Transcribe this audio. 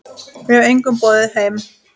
Ég hef engum boðið heim.